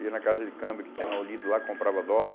Ia na casa de câmbio que tinha na Olido lá, comprava dólar.